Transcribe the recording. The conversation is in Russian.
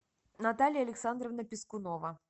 наталья александровна пискунова